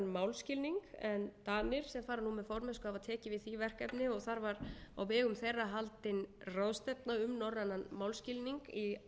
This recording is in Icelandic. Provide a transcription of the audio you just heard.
málskilning en danir sem fara nú með formennsku hafa tekið við því verkefni og þar var á vegum þeirra haldin ráðstefna um norrænan málskilning í